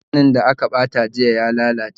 Maganin da aka bata jiya ya lalace